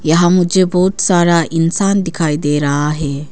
यहां मुझे बहुत सारा इंसान दिखाई दे रहा है।